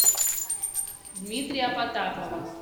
дмитрия потапова